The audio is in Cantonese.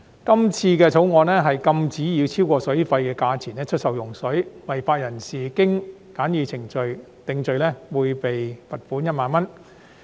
這次《條例草案》禁止以超過水費的價錢出售用水，違法人士一經循簡易程序定罪，會被罰款1萬元。